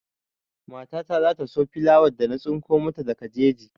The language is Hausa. Mata ta za ta so filawar da na tsinko mata daga jeji.